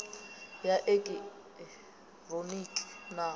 ya i eki hironiki na